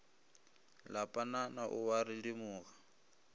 la panana o a redimoga